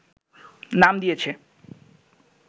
নাম দিয়েছে